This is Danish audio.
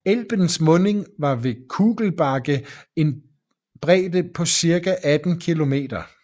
Elbens munding har ved Kugelbake en bredde på cirka 18 km